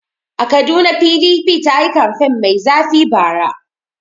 A Kaduna PDP ta yi kamfen mai zafi bara.